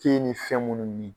ni fɛn munnu min